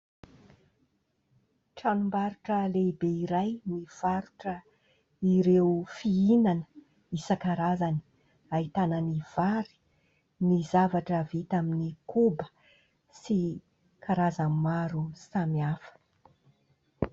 Tranombarotra lehibe iray mivarotra ireo fihinana isan-karazany ahitana ny vary, ny zavatra vita amin'ny koba sy karazany maro samihafa.